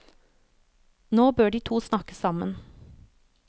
Nå bør de to snakke sammen.